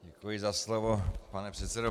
Děkuji za slovo, pane předsedo.